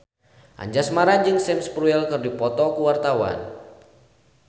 Anjasmara jeung Sam Spruell keur dipoto ku wartawan